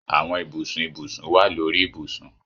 Àwọn ibùsùn ibùsùn wá lórí ibusùn